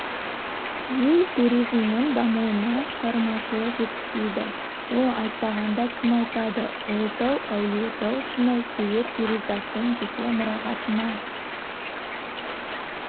ел туризмінің дамуына шығармашылық жетіспейді ол айтпағанда кім айтады ұлытау әулиетау шыңы сурет перизаттың жеке мұрағатынан